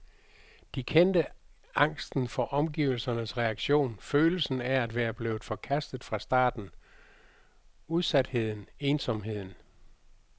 De kendte angsten for omgivelsernes reaktion, følelsen af at være blevet forkastet fra starten, udsatheden, ensomheden.